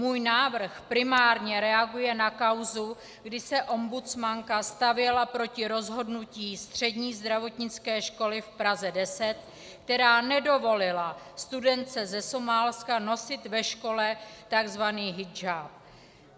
Můj návrh primárně reaguje na kauzu, kdy se ombudsmanka stavěla proti rozhodnutí Střední zdravotnické školy v Praze 10, která nedovolila studence ze Somálska nosit ve škole tzv. hidžáb.